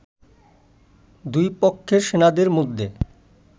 দুই পক্ষের সেনাদের মধ্যে